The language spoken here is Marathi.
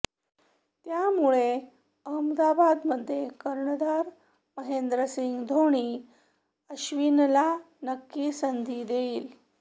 त्यामुळे अहमदाबादमध्ये कर्णधार महेंद्रसिंग ढोणी अश्विनला नक्की संधी देईल